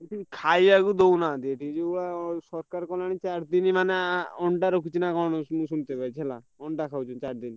ଖାଇବାକୁ ଦଉନାହାନ୍ତି। ଏଠି ସରକାର କଣ ଚାରିଦିନ ଅଣ୍ଡା ରଖୁଛି ନାଁ କଣ ମୁଁ ଶୁଣିଥିଲି ହେଲା ଅଣ୍ଡା ଖାଉଛନ୍ତି ଚାରିଦିନ।